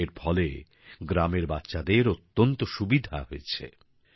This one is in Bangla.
এর ফলে গ্রামের বাচ্চাদের অত্যন্ত সুবিধা হয়েছে